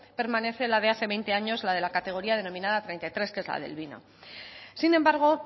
permanece la de hace veinte años la de la categoría denominada treinta y tres que es la del vino sin embargo